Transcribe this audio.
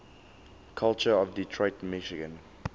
culture of detroit michigan